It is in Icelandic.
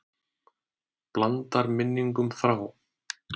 Blandar minningum þrá.